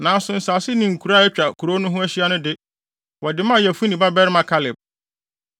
Nanso nsase ne nkuraa a atwa kurow no ho ahyia no de, wɔde maa Yefune babarima Kaleb.